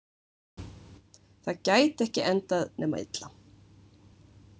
Það gæti ekki endað nema illa.